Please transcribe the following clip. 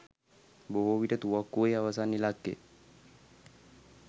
බොහෝ විට තුවක්කුවේ අවසන් ඉලක්කය